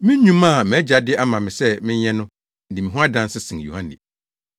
“Me nnwuma a mʼAgya de ama me sɛ menyɛ no di me ho adanse sen Yohane.